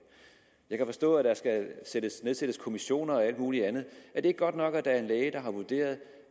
jeg kan forstå at der skal nedsættes kommissioner og alt muligt andet er det ikke godt nok at der er en læge der har vurderet